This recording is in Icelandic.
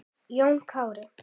Jón Kári.